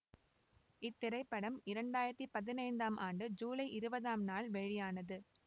இத்திரைப்படம் இரண்டு ஆயிரத்தி பதினைந்தம் ஆண்டு ஜூலை இருபதாம் நாள் வெளியானது